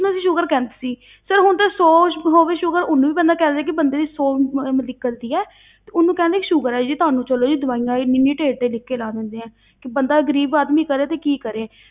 ਉਸਨੂੰ ਅਸੀਂ sugar ਕਹਿੰਦੇ ਸੀ sir ਹੁਣ ਤਾਂ ਸੌ ਹੋ ਗਈ sugar ਉਹਨੂੰ ਵੀ ਪਹਿਲਾਂ ਕਹਿ ਦਿੰਦੇ ਕਿ ਬੰਦੇ ਦੀ ਸੌ ਹੈ ਤੇ ਉਹਨੂੰ ਕਹਿੰਦੇ ਕਿ sugar ਹੈ ਜੀ ਤੁਹਾਨੂੰ ਚਲੋ ਜੀ ਦਵਾਈਆਂ ਇੰਨੀ ਇੰਨੀ ਢੇਰ ਢੇਰ ਲਿਖ ਕੇ ਲਾ ਦਿੰਦੇ ਆ, ਕਿ ਬੰਦਾ ਗ਼ਰੀਬ ਆਦਮੀ ਕਰੇ ਤੇ ਕੀ ਕਰੇ।